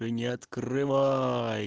не открывай